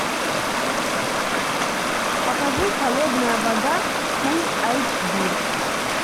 покажи холодная вода фул айч ди